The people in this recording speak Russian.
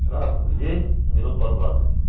раз в день минут по двадцать